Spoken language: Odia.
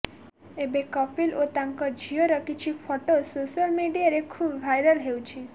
ଏବେ କପିଲ ଓ ତାଙ୍କ ଝିଅର କିଛି ଫଟୋ ସୋସିଆଲ ମିଡିଆରେ ଖୁବ୍ ଭାଇରାଲ ହେଉଛି